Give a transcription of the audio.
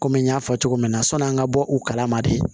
Komi n y'a fɔ cogo min na sɔn'an ka bɔ u kala ma de